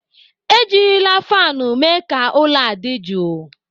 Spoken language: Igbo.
Ejirila fanụ mee ka ụlọ adị jụụ.